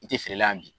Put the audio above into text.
I tɛ feere la yan bi